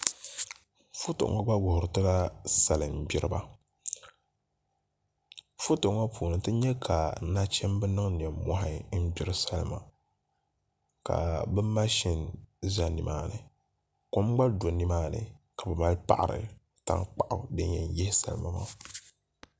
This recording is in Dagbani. Foto ŋo gba wuhuri tila salin gbiriba foto ŋo puuni ti nyɛ ka nachimbi niŋ nimmohi n gbiri salima ka bi mashin ʒɛ nimaani kom gba do nimaani ka bi mali paɣari nimaani din yɛn yihi salima maa